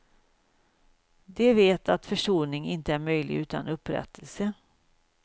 De vet att försoning inte är möjlig utan upprättelse.